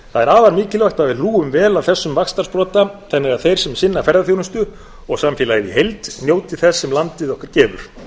það er afar mikilvægt að við hlúum vel að þessum vaxtarsprota þannig að þeir sem sinna ferðaþjónustu og samfélagið í heild njóti þess sem landið okkar gefur